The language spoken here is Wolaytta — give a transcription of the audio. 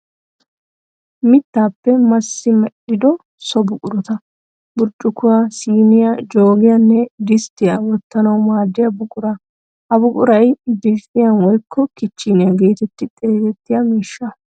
Mittaappe massi medhdhido so buqurata burccukkuwa, siiniya joogiyaanne disttiya wottanawu maaddiya buqura. Ha buquray "biffiya woyikko kicheniya' geetetti xeegettiya miishsha.